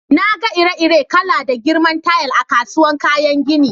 Na gan ire-iren kala da girman tayal a'kasuwan kayan ginin.